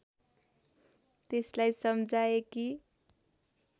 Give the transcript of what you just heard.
त्यसलाई सम्झाए कि